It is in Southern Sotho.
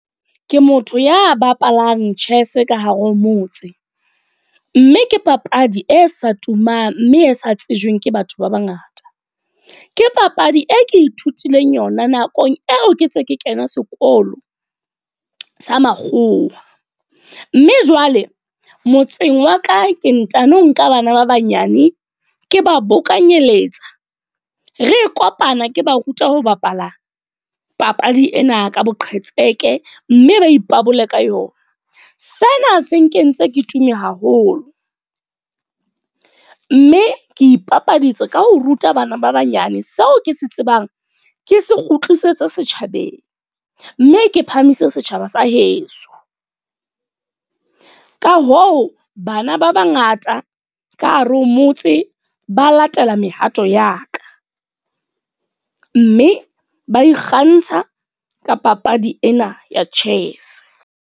Ke motho ya bapalang chess ka hare ho motse. Mme ke papadi e sa tumang, mme e sa tsejweng ke batho ba bangata. Ke papadi e ke ithutileng yona nakong eo ke ntse ke kena sekolo sa makgowa. Mme jwale motseng wa ka ke ntano nka bana ba banyane, ke ba bokanyetsa. Re kopana ke ba ruta ho bapala papadi ena ka boqhetseke, mme ba ipabola ka yona. Sena se nkentse ke tumme haholo. Mme ke ipapatsa ka ho ruta bana ba banyane seo ke se tsebang, ke se kgutlisetsa setjhabeng. Mme ke phamise setjhaba sa heso. Ka hoo, bana ba bangata ka hare ho motse, ba latela mehato ya ka. Mme ba ikgantsha ka papadi ena ya chess.